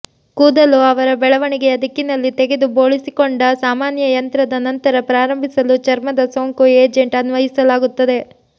ಕೂದಲು ಅವರ ಬೆಳವಣಿಗೆಯ ದಿಕ್ಕಿನಲ್ಲಿ ತೆಗೆದು ಬೋಳಿಸಿಕೊಂಡ ಸಾಮಾನ್ಯ ಯಂತ್ರದ ನಂತರ ಪ್ರಾರಂಭಿಸಲು ಚರ್ಮದ ಸೋಂಕು ಏಜೆಂಟ್ ಅನ್ವಯಿಸಲಾಗುತ್ತದೆ